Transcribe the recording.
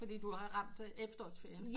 Fordi du har ramt efterårsferien